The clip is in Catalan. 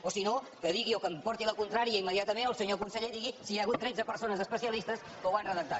o si no que digui o que em porti la contrària immediatament el senyor conseller i digui si hi ha hagut tretze persones especi·alistes que ho han redactat